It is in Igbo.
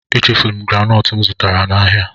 Echefuru m granọọtụ m zụtara n'ahịa.